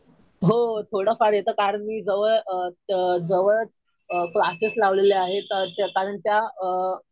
हो थोडंफार येतं. कारण मी जवळ जवळच क्लासेस लावलेले आहेत. कारण त्या अ